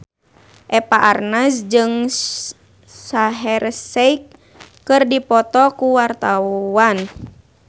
Eva Arnaz jeung Shaheer Sheikh keur dipoto ku wartawan